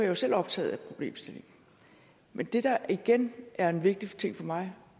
jo selv optaget af problemstillingen men det der igen er en vigtig ting for mig